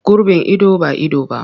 Gurbin ido ba ido ba ne.